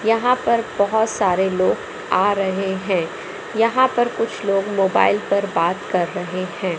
यहां पर बहोत सारे लोग आ रहे हैं यहां पर कुछ लोग मोबाइल पर बात कर रहे हैं।